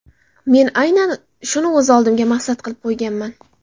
Men aynan shuni o‘z oldimga maqsad qilib qo‘yganman.